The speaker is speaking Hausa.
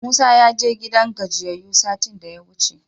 Musa ya je gidan gajiyayyu satin da yawuce.